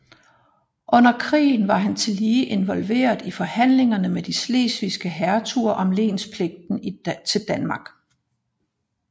Under krigen var han tillige involveret i forhandlingerne med de slesvigske hertuger om lenspligten til Danmark